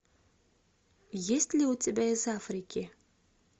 есть ли у тебя из африки